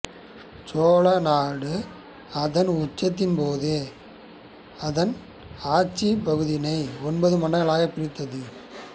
சோழநாடு அதன் உச்சத்தின்போது அதன் ஆட்சிப் பகுதிகளை ஒன்பது மண்டலங்களாக பிரித்திருந்தது